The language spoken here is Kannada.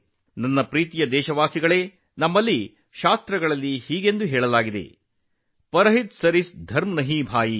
ನನ್ನ ಪ್ರೀತಿಯ ದೇಶವಾಸಿಗಳೇ ಪರಹಿತ್ ಸರಿಸ್ ಧರಮ್ ನಹೀ ಭಾಯಿ ಎಂದು ನಮ್ಮ ಧರ್ಮಗ್ರಂಥಗಳಲ್ಲಿ ಹೇಳಲಾಗಿದೆ